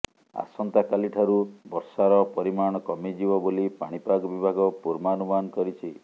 ଆସନ୍ତାକାଲି ଠାରୁ ବର୍ଷାର ପରିମାଣ କମିଯିବ ବୋଲି ପାଣିପାଗ ବିଭାଗ ପୂର୍ବାନୁମାନ କରିଛି